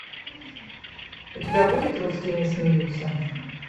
у тебя будет русские не смеются